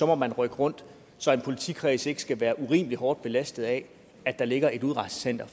må man rykke rundt så en politikreds ikke skal være urimelig hårdt belastet af at der ligger et udrejsecenter